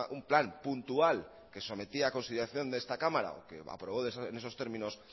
un plan puntual que sometía a consideración de esta cámara o que aprobó en esos términos